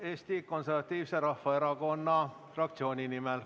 Eesti Konservatiivse Rahvaerakonna fraktsiooni nimel.